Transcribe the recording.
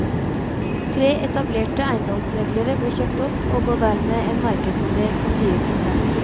Tre etablerte eiendomsmeglere ble kjøpt opp og ga dermed en markedsandel på fire prosent.